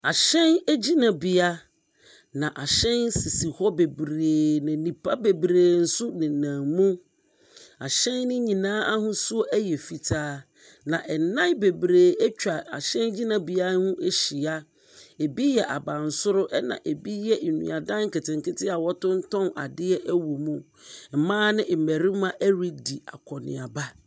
Ahyɛn gyinabea na ahyɛn sisi hɔ bebree, na nnipa bebree nso nenam mu. Ahyɛn no nyinaa ahosuo yɛ fitaa, na adan bebree atwa ahyɛn gyinabea no ho ahyia. Ebi yɛ abansoro ɛnna bi yɛ nnuadan nketenkete a wɔtontɔn adeɛ wɔ mu. Mmaa ne mmarima redi akɔnneaba.